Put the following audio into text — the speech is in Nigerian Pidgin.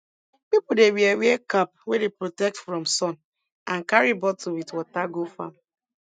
pipo dey wear wear cap wey dey protect from sun and carry bottle with water go farm